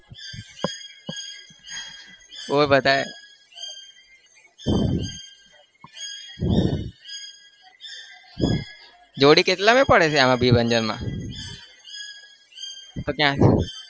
બોલ બતાવ જોડી કેટલા માં પડે છે આમાં માં તો ત્યાં